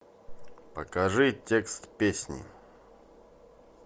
покажи текст песни